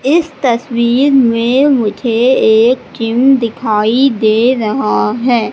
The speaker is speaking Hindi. इस तस्वीर में मुझे एक जिम दिखाई दे रहा है।